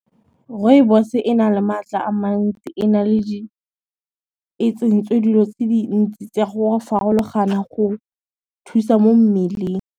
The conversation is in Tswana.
Rooibos e na le matla a mantsi, e tsentswe dilo tse dintsi tsa farologana go thusa mo mmeleng.